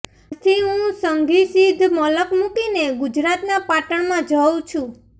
આજથી હું સધી સીંધ મલક મુકીને ગુજરાતના પાટણમાં જઉ છું